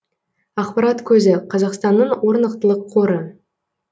ақпарат көзі қазақстанның орнықтылық қоры